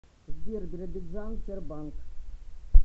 сбер биробиджан тербанк